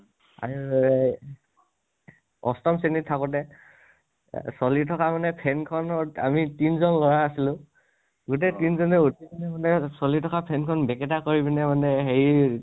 অষ্টম শ্ৰেণীত থাকোতে এ চলি থকা মানে fan খনত আমি তিনিজন লʼৰা আছিলো। গোটেই তিনিজনে উঠি পিনে মানে চলি থকা fan খন বেকেতা কৰি পিনে মানে হেৰি